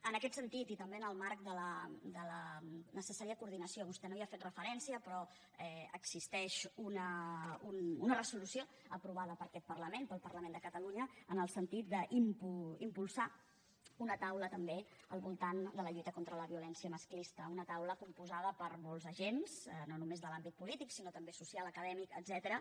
en aquest sentit i també en el marc de la necessària coordinació vostè no hi ha fet referència però existeix una resolució aprovada per aquest parlament pel parlament de catalunya en el sentit d’impulsar una taula també al voltant de la lluita contra la violència masclista una taula composta per molts agents no només de l’àmbit polític sinó també social acadèmic etcètera